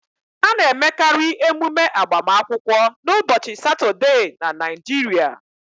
A na-emekari emume agbamakwụkwọ n'ụbọchị Satọde na Naịjirịa